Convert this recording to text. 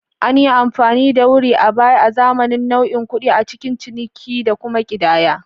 An yi amfani da wurri a baya azaman nau'in kuɗi a cikin ciniki da kuma ƙidaya.